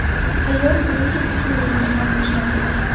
Hayot uning uchun yangidan boshlanadi.